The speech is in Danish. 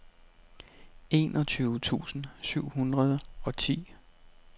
enogtyve tusind syv hundrede og ti